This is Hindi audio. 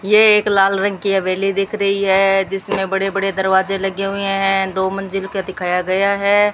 ये एक लाल रंग की हवेली देख रही है जिसमें बड़े बड़े दरवाजे लगे हुए हैं दो मंजिल के दिखाया गया है।